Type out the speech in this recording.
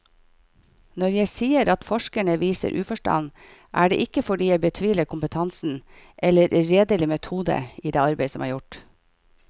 Når jeg sier at forskerne viser uforstand, er det ikke fordi jeg betviler kompetansen eller redelig metode i det arbeid som er gjort.